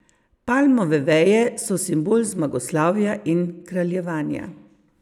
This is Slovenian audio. Palmove veje so simbol zmagoslavja in kraljevanja.